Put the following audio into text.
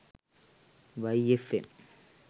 y fm